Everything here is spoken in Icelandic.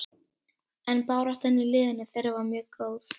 En baráttan í liðinu þeirra var mjög góð.